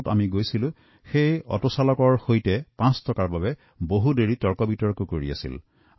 অথচ মলত যোৱাৰ বাবে অটোৱালাৰ সৈতে পাঁচ টকাৰ বাবে কেইবাবাৰো দৰদাম কৰিলে